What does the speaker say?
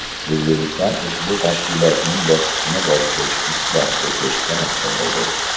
O‘zbekiston ushbu tashkilotning bosqichma-bosqich isloh etilishi tarafdoridir.